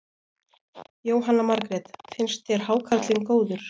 Jóhanna Margrét: Finnst þér hákarlinn góður?